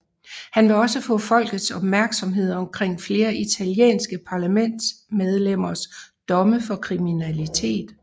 Han vil også få folkets opmærksomhed omkring flere italienske parlamentsmedlemmers domme for kriminalitet